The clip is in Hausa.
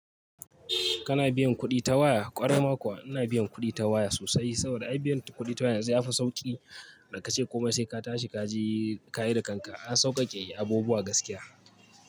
Kana biyan kuɗi ta waya? Ƙwarai ma kuwa ina biyan kuɗi ta waya sosai saboda a biyan kuɗi ta waya yanzu yafi sauƙi, da kace komai sai ka tashi ka je ka yi da kanka. An sauƙaƙe yi abubuwa gaskiya.